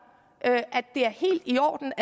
det er helt i orden